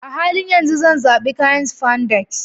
A halin yanzu, zan zaɓi kayan spandex